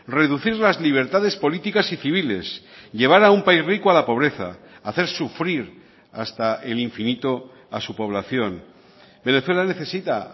reducir las libertades políticas y civiles llevar a un país rico a la pobreza hacer sufrir hasta el infinito a su población venezuela necesita